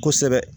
Kosɛbɛ